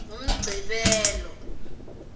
ngumgcibelo